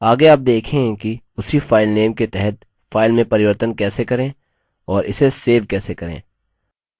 आगे आप देखेंगे कि उसी file के तहत फाइल में परिवर्तन कैसे करें और इसे सेव कैसे करें